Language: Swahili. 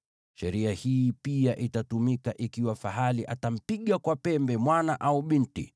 Sheria hii pia itatumika ikiwa fahali atampiga kwa pembe mwana au binti.